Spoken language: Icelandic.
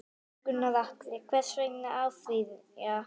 Gunnar Atli: Þessu verður áfrýjað?